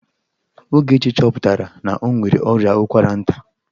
Ogechi chọpụtara na o nwere ọrịa ụkwara nta.